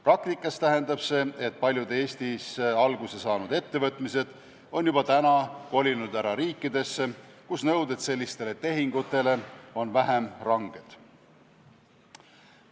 Praktikas tähendab see, et paljud Eestis alguse saanud ettevõtted on juba kolinud ära riikidesse, kus nõuded sellistele tehingutele on vähem ranged.